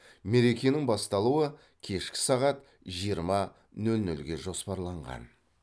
мерекенің басталуы кешкі сағат жиырма нөл нөлге жоспарланған